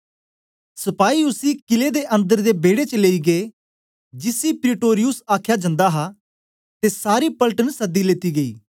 सपाई उसी कीले दे अन्दर दे बेड़े च लेई गै जिसी प्रीटोरियुस आखया जन्दा हा ते सारी पलटन सदी लेती ले